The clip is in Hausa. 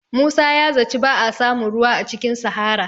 Musa ya zaci ba a samun ruwa a cikin sahara